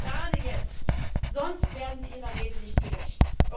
Gerade jetzt, sonst werden Sie Ihrer Rede nicht gerecht.